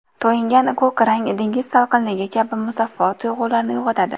To‘yingan ko‘k rang dengiz salqinligi kabi musaffo tuyg‘ularni uyg‘otadi.